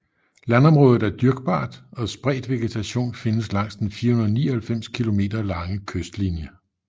Landområdet er dyrkbart og spredt vegetation findes langs den 499 km lange kystlinje